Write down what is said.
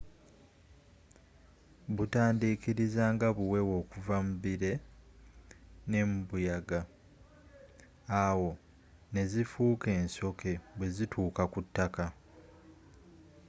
butandiikiriza nga buweewo okuva mubire nembuyaga awo nezifuuka ensoke bwezituuka kutaka